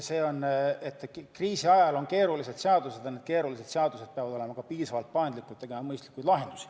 Kriisiajal läheb vaja keerulisi seadusi ning need keerulised seadused peavad olema piisavalt paindlikud ja võimaldama teha mõistlikke lahendusi.